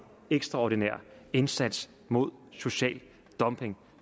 ekstraordinær indsats mod social dumping